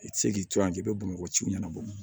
I tɛ se k'i to yan k'i bɛ bamakɔ ci ɲɛnabɔ